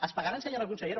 es pagaran senyora consellera